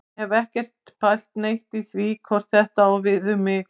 Ég hef ekkert pælt neitt í því hvort þetta á við mig.